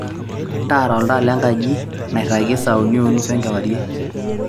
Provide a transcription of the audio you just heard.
taara oltaa lenkaji nairagi saa uni onusu enkewarie